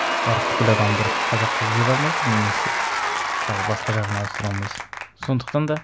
барып бүкіл адамды ұрып қазақ қылып жібере алмайсың немесе тағы басқа жағын ауыстыра алмайсың сондықтан да